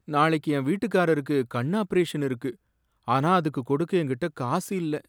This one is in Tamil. நாளைக்கு என் வீட்டுக்காரருக்கு கண் ஆபரேஷன் இருக்கு, ஆனா அதுக்கு கொடுக்க எங்ககிட்ட காசு இல்ல